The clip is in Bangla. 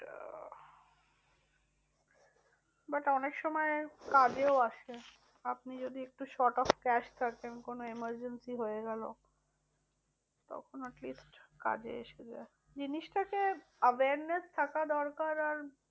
But অনেক সময় কাজেও আসে। আপনি যদি একটু short of cash থাকেন কোনো emergency হয়ে গেল তখন atleast কাজে এসে যায়। জিনিসটাতে awareness থাকা দরকার আর